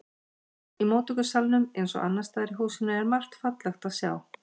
Í móttökusalnum eins og annars staðar í húsinu er margt fallegt að sjá.